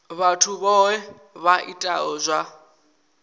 vhathu vhohe vha itaho zwa